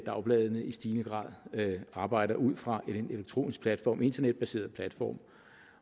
dagbladene i stigende grad arbejder ud fra en elektronisk platform internetbaseret platform